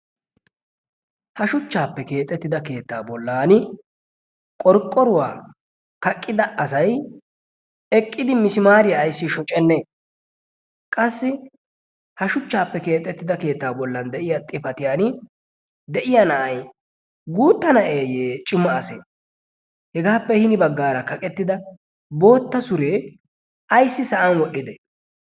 ha shuchchaappe keexettida keettaa bollan qorqqoruwaa kaqqida asay eqqidi misimaariyaa ayssi shuchchanne qassi ha shuchchaappe keexettida keettaa bollan de'iya xifatiyan de'iya na'ay guutta na'eeyye cima ase hegaappe hini baggaara kaqettida bootta suree ayssi sa'an wodhdhide